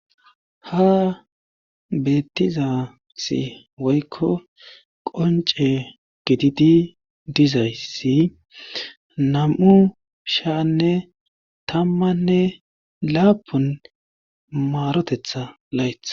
Ha beettizasi woykko qonce gididi dizayssi nam7u shaanne tammanne laapun maarotetha layth